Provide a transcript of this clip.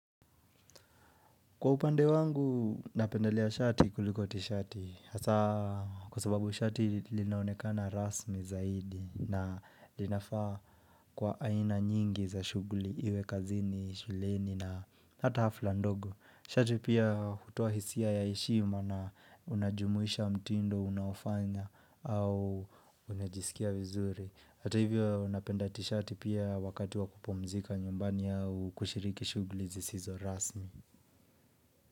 Kwa upande wangu, napendelea shati kuliko tishati. Hasa kusababu shati linaonekana rasmi zaidi na linafa kwa aina nyingi za shuguli iwe kazini, shuleni na hata hafla ndogo. Shati pia hutoa hisia ya ishiu maana unajumuisha mtindo unaofanya au unajisikia vizuri. Hata hivyo, napenda tishati pia wakati wa kupumzika nyumbani au kushiriki shugli zisizo rasmi.